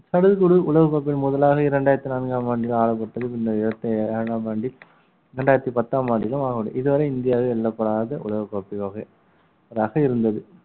சடுகுடு உலகக்கோப்பையில் முதலாக இரண்டாயிரத்தி நான்காம் ஆண்டில் ஆளப்பட்டது இரண்டாம் ஆண்டில் இரண்டாயிரத்தி பத்தாம் ஆண்டிலும் இதுவரை இந்தியாவில் எழுதப்படாத உலக கோப்பை யோகை ரக இருந்தது